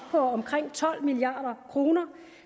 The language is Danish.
på omkring tolv milliard kroner